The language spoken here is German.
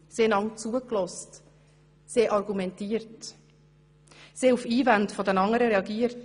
Sie hörten einander zu, sie argumentierten, sie reagierten gegenseitig auf Einwände.